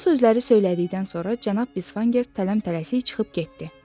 Bu sözləri söylədikdən sonra cənab Bisfanger tələm-tələsik çıxıb getdi.